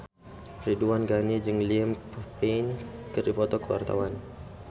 Ridwan Ghani jeung Liam Payne keur dipoto ku wartawan